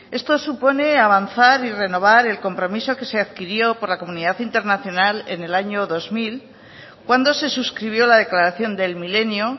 esto supone avanzar y renovar el compromiso que se adquirió por la comunidad internacional en el año dos mil cuando se suscribió la declaración del milenio